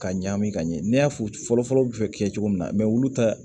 Ka ɲagami ka ɲɛ n'i y'a fɔ fɔlɔfɔlɔ bɛ fɛ kɛ cogo min na olu ta